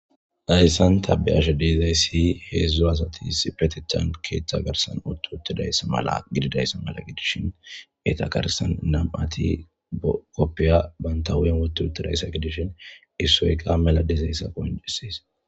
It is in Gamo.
Hayssan ta be7ashe diizaysi heedzdzu asati issipethatan keeththa garsan utti uttidayssa mala gididayssa mala gidishin eta garsan nam7ati koppiya banta huupen woti utidayssa gidishin issoy qa mela disayssa qonccises.